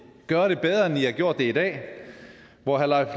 gøre det bedre end i har gjort det i dag hvor herre